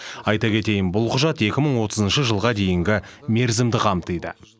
айта кетейін бұл құжат екі мың отызыншы жылға дейінгі мерзімді қамтиды